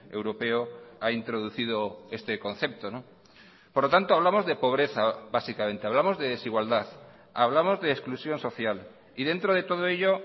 europeo ha introducido este concepto por lo tanto hablamos de pobreza básicamente hablamos de desigualdad hablamos de exclusión social y dentro de todo ello